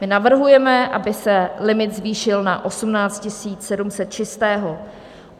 My navrhujeme, aby se limit zvýšil na 18 700 čistého.